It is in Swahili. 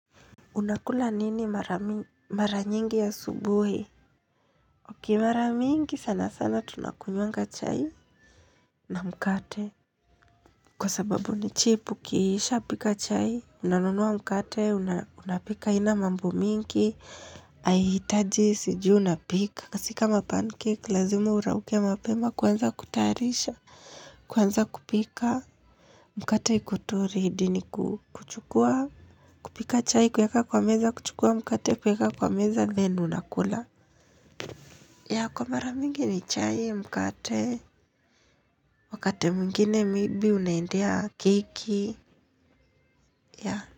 Unakula nini mara mara nyingi asubuhi uki mara mingi sana sana tunakunywanga chai na mkate kwa sababu ni chipu ukiisha pika chai unanunua mkate unapika haina mambo mingi haihitaji siji unapika si ka pancake lazima urauke mapema kwanza kutayarisha kwanza kupika mkate kuturi hidi ni kukuchukua kupika chai kuweka kwa meza kuchukua mkate kuweka kwa meza then unakula. Kwa mara mingi ni chai mkate wakati mwingine maybe unaendea keki ya.